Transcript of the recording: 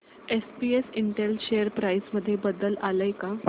SPS Intel share price मध्ये बदल आलाय का